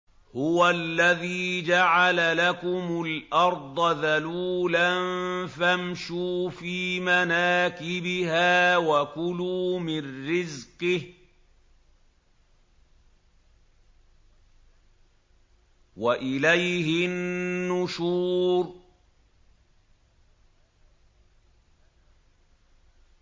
هُوَ الَّذِي جَعَلَ لَكُمُ الْأَرْضَ ذَلُولًا فَامْشُوا فِي مَنَاكِبِهَا وَكُلُوا مِن رِّزْقِهِ ۖ وَإِلَيْهِ النُّشُورُ